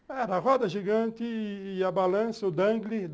Era a roda gigante e a balança, o dangle.